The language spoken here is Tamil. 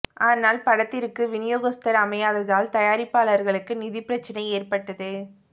ஆனால் படத்திற்கு விநியோகஸ்தர் அமையாததால் தயாரிப்பாளருக்கு நிதிப் பிரச்சனை ஏற்பட்டது